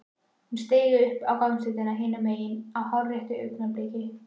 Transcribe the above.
Hún steig upp á gangstéttina hinum megin á hárréttu augnabliki.